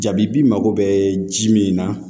Jabibi mako bɛ ji min na